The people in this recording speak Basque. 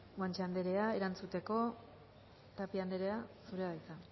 guanche andrea erantzuteko tapia andrea zurea da hitza